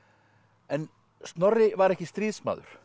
en Snorri var ekki stríðsmaður